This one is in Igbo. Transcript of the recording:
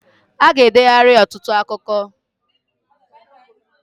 Aga edeghari ọtụtụ akụkọ